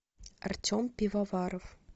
артем пивоваров